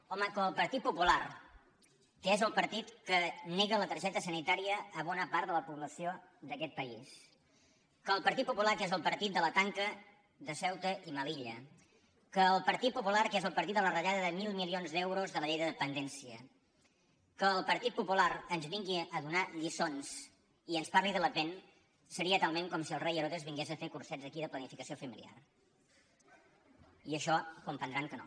home que el partit popular que és el partit que nega la targeta sanitària a bona part de la població d’aquest país que el partit popular que és el partit de la tanca de ceuta i melilla que el partit popular que és el par·tit de la retallada de mil milions d’euros de la llei de dependència que el partit popular ens vingui a do·nar lliçons i ens parli de le pen seria talment com si el rei herodes vingués a fer cursets aquí de planifica·ció familiar i això deuen comprendre que no